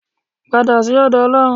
Padà sí ọ̀dọ̀ Ọlọ́run.